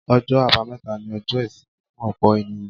Ọjọ́ àbámẹ́ta ni ọjọ́ ìsinmi fún ọ̀pọ̀ ènìyàn.